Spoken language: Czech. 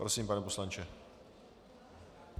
Prosím, pane poslanče.